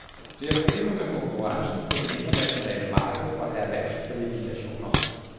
Vi har problemer med konkurrencen på det internationale marked for erhvervskvalifikationer.